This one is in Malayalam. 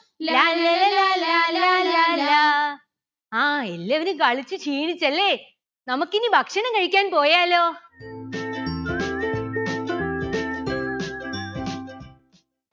ലാല്ലല ലാലാ ലാലാ ലാ. ആ എല്ലാവരും കളിച്ചു ക്ഷീണിച്ചല്ലെ നമുക്കിനി ഭക്ഷണം കഴിക്കാൻ പോയാലോ